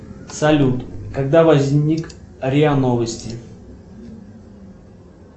салют когда возник риа новости